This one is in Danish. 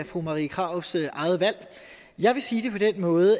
fru marie krarups eget valg jeg vil sige det på den måde